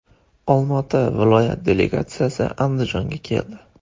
Olmaota viloyati delegatsiyasi Andijonga keldi.